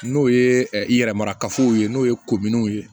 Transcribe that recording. N'o ye i yɛrɛ mara kafo ye n'o ye kominiw ye